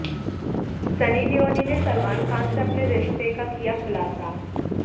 Sunny Leone ने सलमान खान से अपने रिश्ते का किया खुलासा